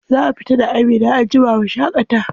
Za mu fita da Amina anjima mu shaƙata.